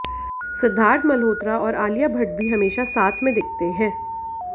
सिद्धार्थ मल्होत्रा और आलिया भट्ट भी हमेशा साथ में दिखते हैं